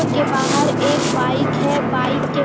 उनके बाहर एक बाइक है बाइक के --